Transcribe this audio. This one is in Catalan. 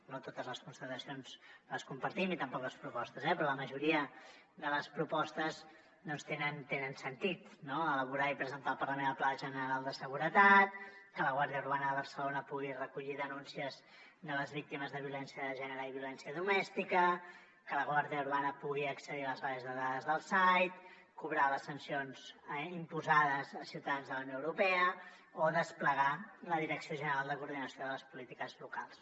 no totes les constatacions les compartim i tampoc les propostes eh però la majoria de les propostes tenen sentit no elaborar i presentar al parlament el pla general de seguretat que la guàrdia urbana de barcelona pugui recollir denúncies de les víctimes de violència de gènere i violència domèstica que la guàrdia urbana pugui accedir a les bases de dades del said cobrar les sancions imposades a ciutadans de la unió europea o desplegar la direcció general de coordinació de les polítiques locals